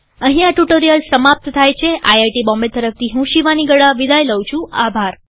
અહીં આ ટ્યુ્ટોરીઅલ સમાપ્ત થાય છેIIT બોમ્બે તરફથી હું શિવાની ગડા વિદાય લઉં છુંઆભાર